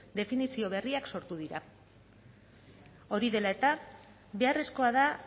definizio berriak sortu dira hori dela eta beharrezkoa da